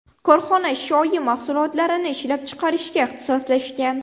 Korxona shoyi mahsulotlarini ishlab chiqarishga ixtisoslashgan.